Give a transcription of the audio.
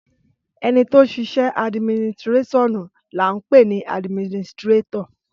Ẹnitọ sisẹ àdminitirẹsíọnú làhún pẹni àdmínìsitirẹtọ